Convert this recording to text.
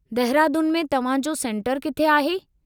दहिरादून में तव्हां जो सेंटरु किथे आहे?